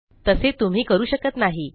तसे तुम्ही करू शकत नाही